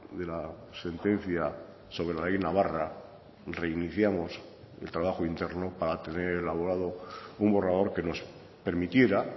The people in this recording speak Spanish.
de la sentencia sobre la ley navarra reiniciamos el trabajo interno para tener elaborado un borrador que nos permitiera